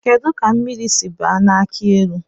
Kedụ ka mmiri si baa n'akị elu?